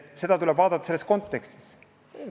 Seda tuleb vaadata selles kontekstis.